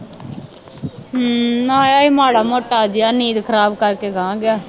ਹੂੰ ਆਇਆ ਸੀ ਮਾੜਾ ਮੋਟਾ ਜਿਹਾ ਨੀਂਦ ਖਰਾਬ ਕਰਕੇ ਅਗਾਂਹ ਗਿਆ